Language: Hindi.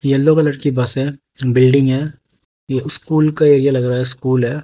येलो कलर की बस है बिल्डिंग है ये स्कूल का एरिया लग रहा है स्कूल है।